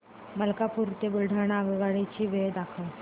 मलकापूर ते बुलढाणा आगगाडी ची वेळ दाखव